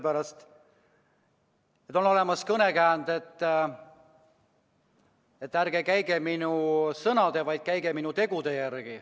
On ju olemas ütlemine, et ärge käige minu sõnade, vaid käige minu tegude järgi.